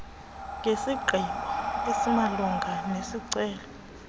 ngesigqibo esimalunga nesicelo